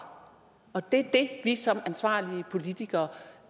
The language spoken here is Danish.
og det er det vi som ansvarlige politikere